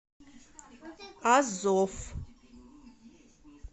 азов